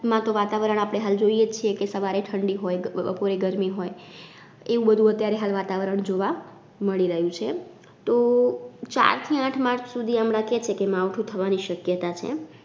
માં તો વાતાવરણ આપડે હાલ જોઈએ જ છીએ કે સવારે ઠંડી હોય, ગ બપોરે ગરમી હોય એવું બધુ અત્યારે હાલ વાતાવરણ જોવા મળી રહ્યું છે તો ચાર થી આઠ March સુધી હમણાં કે છે કે માવઠું થવાની શક્યતા છે.